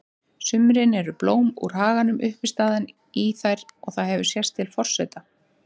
sumrin eru blóm úr haganum uppistaðan í þær og það hefur sést til forseta